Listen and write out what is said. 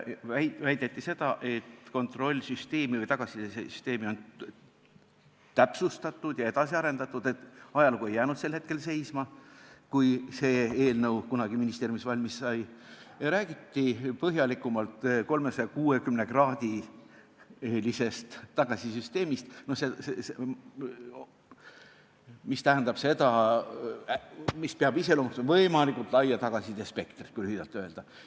Väideti, et kontrollsüsteemi või tagasisidesüsteemi on täpsustatud ja edasi arendatud, et ajalugu ei jäänud sel hetkel seisma, kui see eelnõu kunagi ministeeriumis valmis sai, ja räägiti põhjalikumalt 360-kraadilisest tagasisidesüsteemist, mis peab iseloomustama võimalikult laia tagasisidespektrit, kui lühidalt öelda.